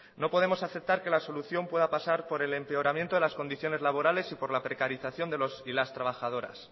no podemos aceptar que la solución pueda pasar por el empeoramiento de las condiciones laborales y por la precarización de los y las trabajadoras